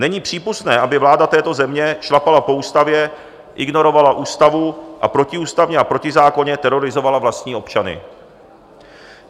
Není přípustné, aby vláda této země šlapala po ústavě, ignorovala ústavu a protiústavně a protizákonně terorizovala vlastní občany.